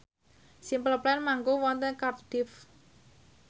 Simple Plan manggung wonten Cardiff